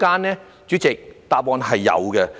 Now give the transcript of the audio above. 代理主席，答案是有的。